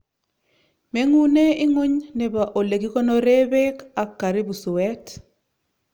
menguune inguny nebo olekikonoree bek ak karibu suet